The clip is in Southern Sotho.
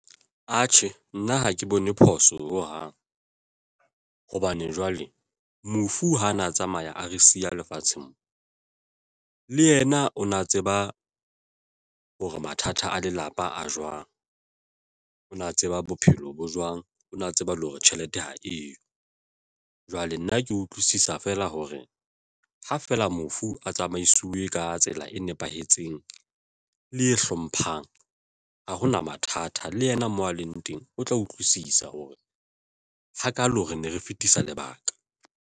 Atjhe, nna ha ke bone phoso ho hang hobane jwale mofu ha na tsamaya a re siya lefatsheng mo le yena o na tseba hore mathata a lelapa a jwang ona tseba bophelo bo jwang ona tseba le hore tjhelete ha eyo jwale nna ke utlwisisa feela hore ha feela mofu a tsamaisuwe ka tsela e nepahetseng le e hlomphang, ha hona mathata le yena moo a leng teng o tla utlwisisa hore hakaalo re ne re fetisa lebaka.